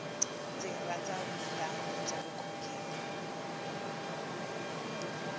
ndzi rhandza vunanga bya vukhongeri